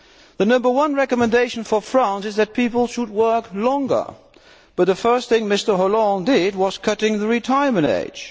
The number one recommendation for France is that people should work longer, but the first thing Mr Hollande did was to cut the retirement age.